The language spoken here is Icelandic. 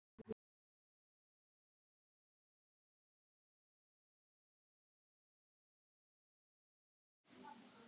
Með mér í nefndinni voru prófessorarnir Ólafur Lárusson